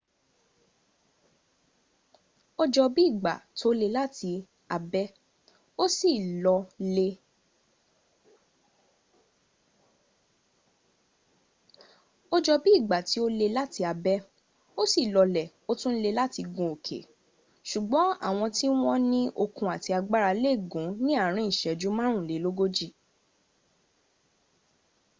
ó jọ bí ìgbà tó le láti abẹ́ ó sì lọ lẹ̀ ó tún le láti gun òkè ṣùgbọ́n àwọn tí wọ́n ní okun àti agbára lè gùn ní àárín ìṣẹ́jú márùnlélógójì